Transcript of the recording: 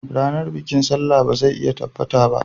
Ranar bikin Sallah ba zai iya tabbata ba